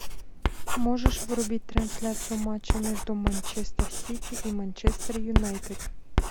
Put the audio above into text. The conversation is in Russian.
можешь врубить трансляцию матча между манчестер сити и манчестер юнайтед